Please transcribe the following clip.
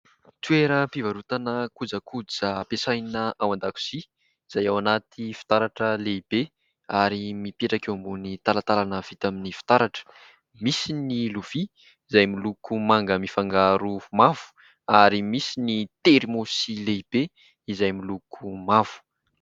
Toeram-pivarotan kojakoja ampiasaina ao an-dakozia izay ao anaty fitaratra lehibe ary mipetraka eo ambony talantalana vita amin'ny fitaratra. Misy ny lovia izay miloko manga mifangaro mavo ary misy ny terimaosy lehibe izay miloko mavo.